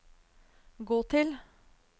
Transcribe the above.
gå til